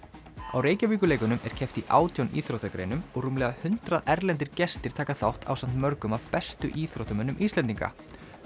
á er keppt í átján íþróttagreinum og rúmlega hundrað erlendir gestir taka þátt ásamt mörgum af bestu íþróttamönnum Íslendinga